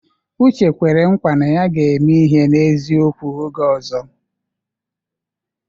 Uche kwere nkwa na ya ga-eme ihe n'eziokwu oge ọzọ.